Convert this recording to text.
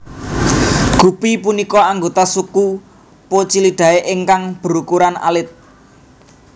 Gupi punika anggota suku Poecilidae ingkang berukuran alit